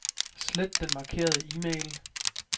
Slet den markerede e-mail.